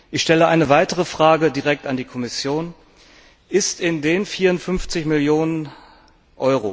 Ich stelle eine weitere Frage direkt an die Kommission Ist in den 54 Mio.